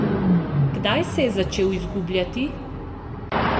Kdaj se je začel izgubljati?